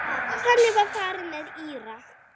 Þannig var farið með Íra.